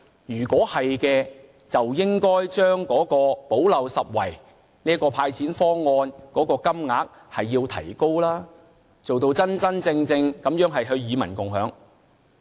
如果是的話，便應要提高補漏拾遺"派錢"方案的金額，做到真正與民共享。